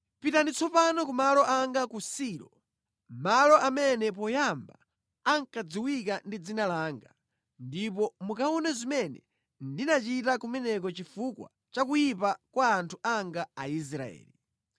“ ‘Pitani tsopano ku malo anga ku Silo, malo amene poyamba ankadziwika ndi Dzina langa, ndipo mukaone zimene ndinachita kumeneko chifukwa cha kuyipa kwa anthu anga Aisraeli.